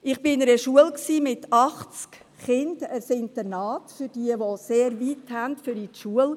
Ich war in einer Schule mit achtzig Kindern, einem Internat für diejenigen, welche einen sehr weiten Weg haben bis zur Schule.